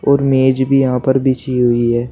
और मेज भी यहां पर बिछी हुई है।